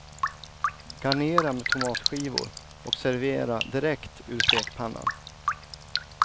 Garnera med tomatskivor och servera direkt ur stekpannan.